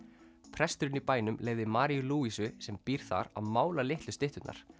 presturinn í bænum leyfði Maríu sem býr þar að mála litlu stytturnar